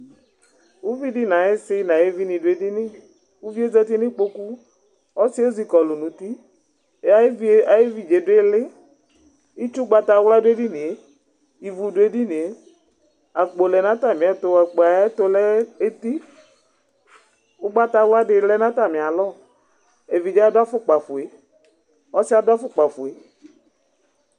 Uvi di nu ayiu ɔsi nu ayu vi ni du edini uvie zati nu ikpoku, ɔsi ezikɔlu nu uti, ayu evidze du ili, itsu ugbata wla du edinie, ivu du edinie, akpo lɛ nu ata miɛtu, akpo yɛ ayɛtu lɛ eti, ugbata wla di lɛ nu ata mialɔ, evidze adu afukpa fue, ɔsiɛ adu afukpa fue